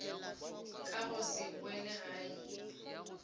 ka go se boele gae